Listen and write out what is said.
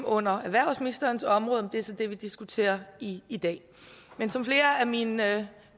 under erhvervsministerens område er så det vi diskuterer i i dag men som flere af mine